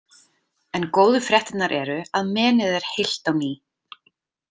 En góðu fréttirnar eru að menið er heilt á ný